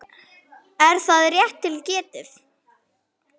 Er það rétt til getið?